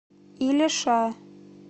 илеша